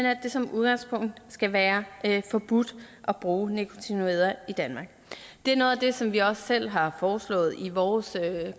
at det som udgangspunkt skal være forbudt at bruge neonikotinoider i danmark det er noget af det som vi også selv har foreslået i vores